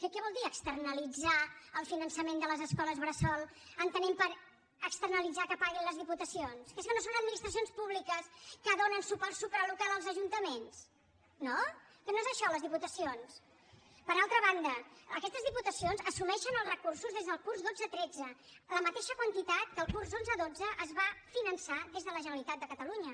què vol dir externalitzar el finançament de les escoles bressol entenent per externalitzar que paguin les diputacions que és que no són administracions públiques que donen suport supralocal als ajuntaments no que no és això les diputacions per altra banda aquestes diputacions assumeixen els recursos des del curs dotze tretze la mateixa quantitat que el curs onze dotze es va finançar des de la generalitat de catalunya